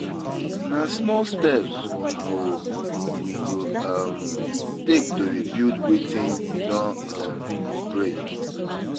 Na small steps we go we go um take to rebuild wetin um don break.